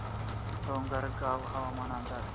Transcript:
डोंगरगाव हवामान अंदाज